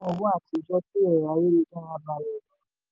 owó àtijọ́ kí ẹ̀rọ ayélujára bá a lọ rọrùn.